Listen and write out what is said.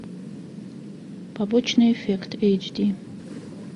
побочный эффект эйч ди